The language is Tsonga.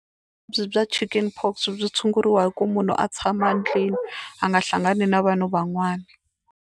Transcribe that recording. Vuvabyi bya Chicken pox byi tshunguriwa hi ku munhu a tshama a ndlwini a nga hlangani na vanhu van'wana.